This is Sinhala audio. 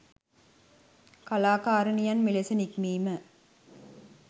කළාකාරිනියන් මෙලෙස නික්මීම